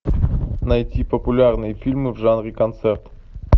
найти популярные фильмы в жанре концерт